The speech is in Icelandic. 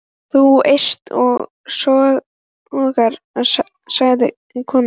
Þú eyst og sóar, sagði konan.